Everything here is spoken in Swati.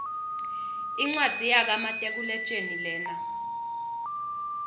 incwadzi yaka matekuletjelii lena